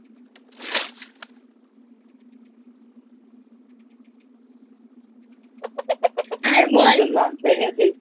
আর বল তোর Lunch হয়ে গেছে?